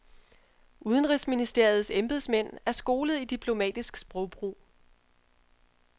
Udenrigsministeriets embedsmænd er skolet i diplomatisk sprogbrug.